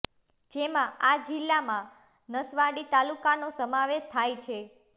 જેમાં આ જિલ્લામાં નસવાડી તાલુકાનો સમાવેશ થાય છે